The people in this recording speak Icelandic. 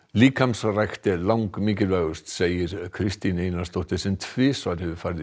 líkamsrækt er langmikilvægust segir Kristín Einarsdóttir sem tvisvar hefur farið í